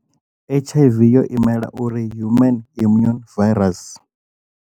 H_I_V yo imela uri human immune virus.